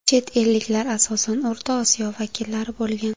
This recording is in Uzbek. Chet elliklar asosan O‘rta Osiyo vakillari bo‘lgan.